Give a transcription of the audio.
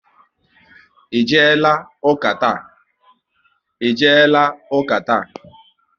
Ị jeela ụka taa?